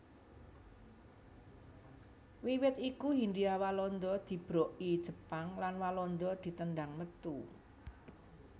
Wiwit iku Hindia Walanda dibroki Jepang lan Walanda ditendhang metu